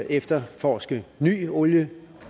efterforske ny olie